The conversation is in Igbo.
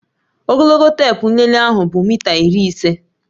Ogologo teepu nlele ahu bụ mita iri ise